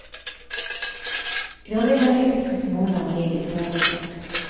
I dag är han yrkesskicklig målare med eget företag.